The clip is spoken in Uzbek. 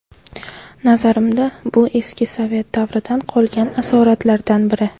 Nazarimda, bu eski sovet davridan qolgan asoratlardan biri.